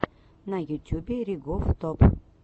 на ютюбе ригоф топ